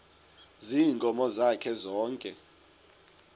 ziinkomo zakhe zonke